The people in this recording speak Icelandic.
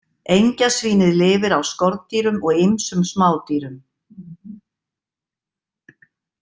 Engjasvínið lifir á skordýrum og ýmsum smádýrum.